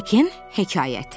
Hekin hekayəti.